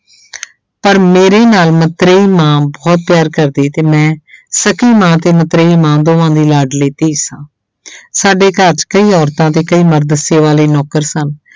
ਪਰ ਮੇਰੇ ਨਾਲ ਮਤਰੇਈ ਮਾਂ ਬਹੁਤ ਪਿਆਰ ਕਰਦੀ ਤੇ ਮੈਂ ਸਕੀ ਮਾਂ ਤੇ ਮਤਰੇਈ ਮਾਂ ਦੋਹਾਂ ਦੀ ਲਾਡਲੀ ਧੀ ਸਾਂ ਸਾਡੇ ਘਰ 'ਚ ਕਈ ਔਰਤਾਂ ਤੇ ਕਈ ਮਰਦ ਸੇਵਾ ਲਈ ਨੌਕਰ ਸਨ,